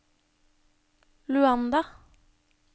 Luanda